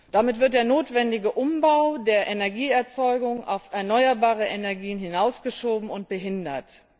Damit wird der notwendige Umbau der Energieerzeugung auf erneuerbare Energien hinausgeschoben und behindert.